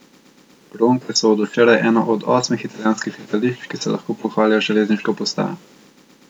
Ronke so od včeraj eno od osmih italijanskih letališč, ki se lahko pohvalijo z železniško postajo.